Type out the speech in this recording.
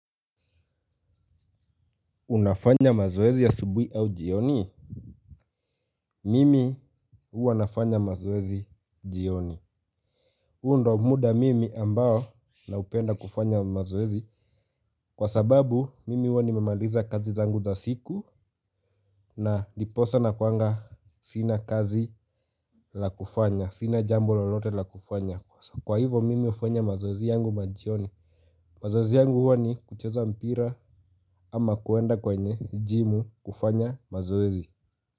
Unafanya mazoezi asubuhi au jioni? Mimi huwa nafanya mazoezi jioni. Huu ndio muda mimi ambao naupenda kufanya mazoezi. Kwa sababu, mimi huwa nimemaliza kazi zangu za siku na ndiposa nakuwa sina kazi la kufanya. Sina jambo lolote la kufanya. Kwa hivo, mimi hufanya mazoezi yangu majioni. Mazoezi yangu huwa ni kucheza mpira ama kuenda kwenye jimu kufanya mazoezi.